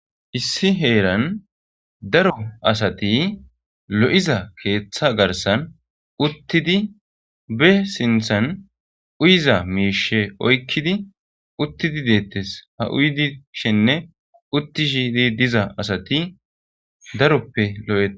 Issi herani daro asati lo'iza keththa garissanni uttido be sinththanni uyizza mishshe oyikkidi uttidi detess ,haa uyishshenne uttishshe diza asati daroppe lo'etes.